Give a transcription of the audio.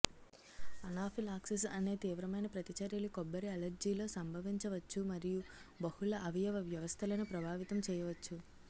anaphylaxis అనే తీవ్రమైన ప్రతిచర్యలు కొబ్బరి అలెర్జీలో సంభవించవచ్చు మరియు బహుళ అవయవ వ్యవస్థలను ప్రభావితం చేయవచ్చు